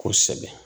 Kosɛbɛ